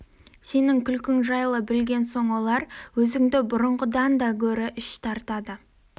сенің күлкің жайлы білген соң олар өзіңді бұрынғыдан да гөрі іш тартады